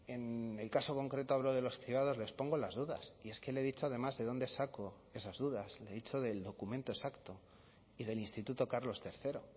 en el caso concreto hablo de los cribados les pongo las dudas y es que le he dicho además de dónde saco esas dudas le he dicho del documento exacto y del instituto carlos tercero